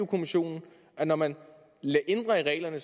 kommissionen at når man ændrer i reglerne